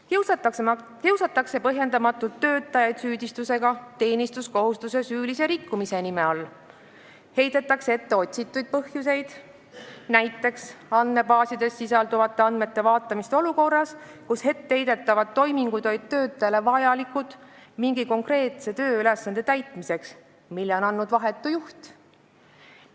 Töötajaid kiusatakse põhjendamatult, süüdistades neid teenistuskohustuste süülises rikkumises, heidetakse ette otsitud põhjuseid, näiteks andmebaasides sisalduvate andmete vaatamist olukorras, kus etteheidetavad toimingud olid vajalikud mingi konkreetse tööülesande täitmiseks, mille oli andnud vahetu juht.